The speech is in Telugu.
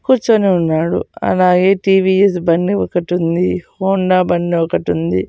కూర్చొని ఉన్నాడు అలాగే టీ_వీ_ఎస్ బండి ఒకటి ఉంది హోండా బండి ఒకటి ఉంది.